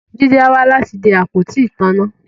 Jide á wá láti de àpótí ìtanná